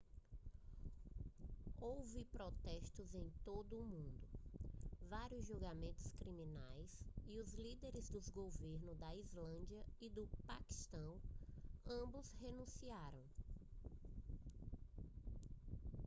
houve protestos em todo o mundo vários julgamentos criminais e os líderes dos governos da islândia e do paquistão ambos renunciaram